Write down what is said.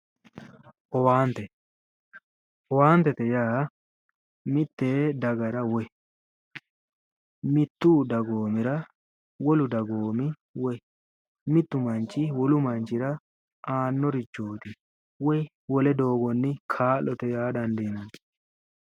Owaante, owaatette yaa mitte dagara woyi mittu dagoomira wolu dagoomi woy mittu manchi wolu manchira aanorichooti woy wole doogonni kaa'lotte yaa dandiinanni.